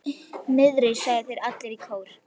Niðri, sögðu þeir allir í kór.